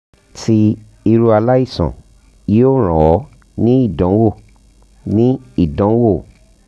ti iru alaisan yoo ran ọ ni idanwo ni idanwo